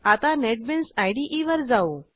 आता नेटबीन्स इदे वर जाऊ